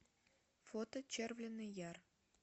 фото червленый яр